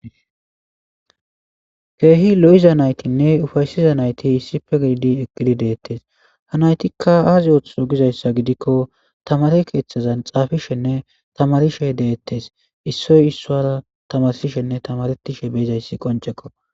keehi lo7iza naytinne ufaysiza nayti issipe gididi eqgidi deettes hanaytikka aazi ootho gizayssa gidikko tamare keeththazan xaafishenne tamarishe deettes issoy issoara tamarsishenne tamaretishe beizayssi qoncekko